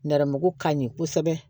Nɛrɛmugu ka ɲi kosɛbɛ